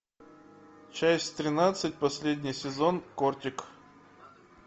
часть тринадцать последний сезон кортик